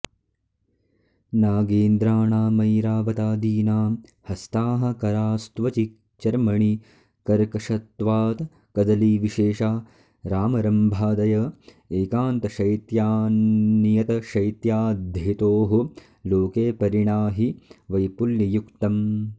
नागेन्द्राणामैरावतादीनां हस्ताः करास्त्वचि चर्मणि कर्कशत्वात्कदलीविशेषा रामरम्भादय एकान्तशैत्यान्नियतशैत्याद्धेतोः लोके परिणाहि वैपुल्ययुक्तम्